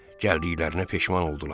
Gəldiklərinə peşman oldular.